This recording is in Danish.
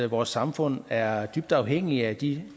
vores samfund er dybt afhængigt af de